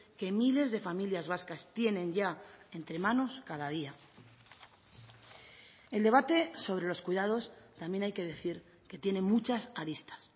que miles de familias vascas tienen ya entre manos cada día el debate sobre los cuidados también hay que decir que tiene muchas aristas